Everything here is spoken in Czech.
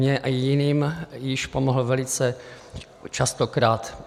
Mně a jiným již pomohl velice častokrát.